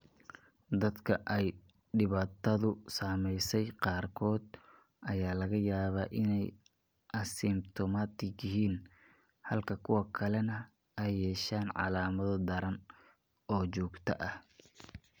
Dadka ay dhibaatadu saameysey qaarkood ayaa laga yaabaa inay asymptomatic yihiin halka kuwa kalena ay yeeshaan calaamado daran oo joogto ah.